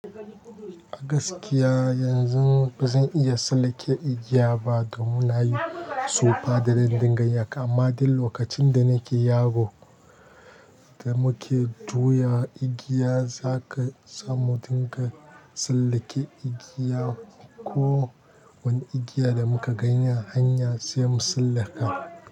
Gaskiya yanzun ba zan iya tsallake igiya ba domin na yi tsufa da zan dinga yin haka, amma dai lokacin da nake yaro da muke juya igiya za ka samu dinga tsallake igiya ko wani igiya da muka gani hanya sai mu tsallaka.